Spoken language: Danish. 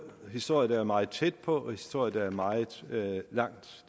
er historie der er meget tæt på og historie der er meget langt